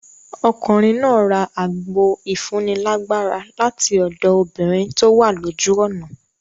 Ọkùnrin náà ra àgbo ìfúni lágbára lati ọ̀dọ̀ obìnrin tówà lójú ọ̀nà.